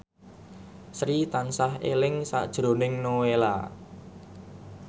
Sri tansah eling sakjroning Nowela